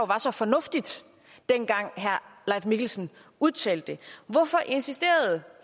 var så fornuftigt dengang herre leif mikkelsen udtalte det hvorfor insisterede